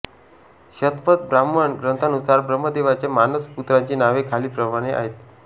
शतपथ ब्राह्मण ग्रंथानुसार ब्रम्हदेवाच्या मानस पुत्रांची नावे खालीलप्रमाणे आहेत